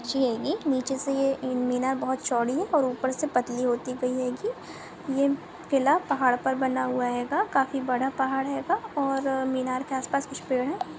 ऊँची हेगी नीचे से ये मीनार बहुत चौडी है और उपर से पतली होती हुई हेगी ये किला पहाड़ पर बना हेगा काफी बडा पहाड हेगा और मीनार के आस पास कुछ पेड है।